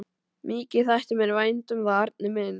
Mikið þætti mér vænt um það, Arnar minn!